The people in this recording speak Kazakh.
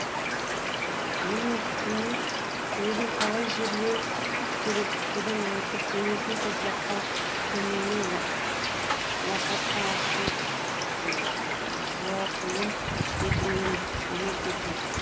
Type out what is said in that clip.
мұның үстіне өзін қалай жерлеу керектігін айтып денесінің топыраққа көмілмей лақатта ашық жуатуын өтінген деген сөз бар